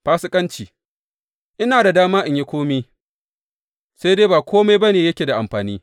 Fasikanci Ina da dama in yi kome, sai dai ba kome ba ne yake da amfani.